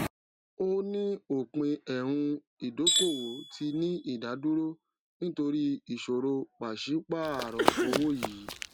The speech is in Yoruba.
ó ní òpin ẹhun ìdókòwò tí ní ìdádúró nítorí ìṣòro pàṣípààrọ owó yìí